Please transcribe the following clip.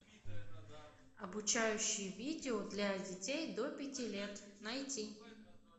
обучающие видео для детей до пяти лет найти